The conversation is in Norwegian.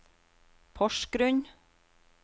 Porsgrunn